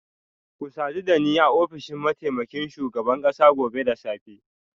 Ku sadu da ni a ofishin mataimakin shugaban kasa gobe da safe